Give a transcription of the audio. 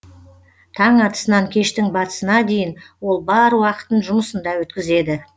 таң атысынан кештің батысына дейін ол бар уақытын жұмысында өткізеді